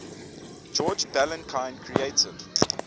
george balanchine created